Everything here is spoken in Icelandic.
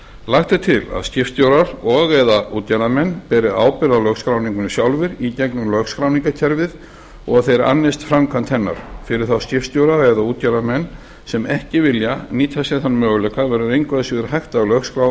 lagt er til að skipstjórar og eða útgerðarmenn beri ábyrgð á lögskráningunni sjálfir í gegnum lögskráningarkerfið og að þeir annist framkvæmd hennar fyrir þá skipstjóra eða útgerðarmenn sem ekki vilja nýta sér þann möguleika verður engu síður hægt að lögskrá